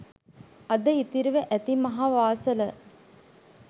අද ඉතිරිව ඇති මහ වාසල